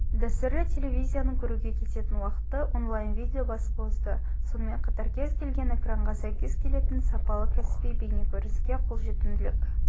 дәстүрлі телевизияны көруге кететін уақытты онлайн-видео басып озды сонымен қатар кез келген экранға сәйкес келетін сапалы кәсіби бейнекөрініске қолжетімділік